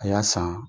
A y'a san